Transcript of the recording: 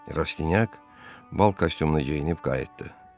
Rastinyak bal kostyumu geyinib qayıtdı.